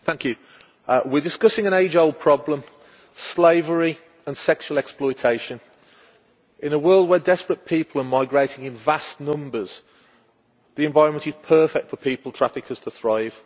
Madam President, we are discussing an age old problem slavery and sexual exploitation. In a world where desperate people are migrating in vast numbers, the environment is perfect for people traffickers to thrive.